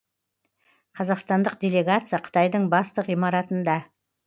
қазақстандық делегация қытайдың басты ғимаратында